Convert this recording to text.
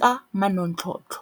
ka manontlhotlho.